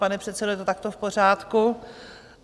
Pane předsedo, je to takto v pořádku?